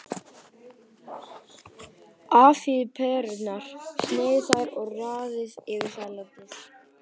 Afhýðið perurnar, sneiðið þær og raðið yfir salatið.